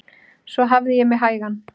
Svo ég hafði mig hægan.